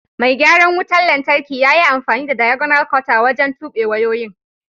Mai garan wutan lantarki ƴa ƴi amfani da "diagonal cutter" wajen tube wayoyin.